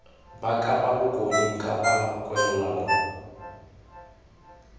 ba kapa bokone ncpa kwalelano